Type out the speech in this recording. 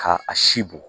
Ka a si bɔn